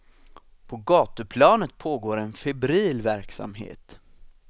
På gatuplanet pågår en febril verksamhet.